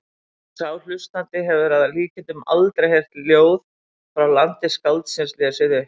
Og sá hlustandi hefur að líkindum aldrei heyrt ljóð frá landi skáldsins lesið upp.